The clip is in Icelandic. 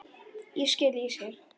Ég skil, ég skil.